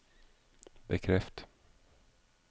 bekreft